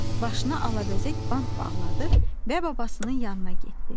Başına alabəzək bant bağladı və babasının yanına getdi.